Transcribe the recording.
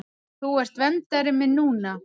Þú ert verndari minn núna.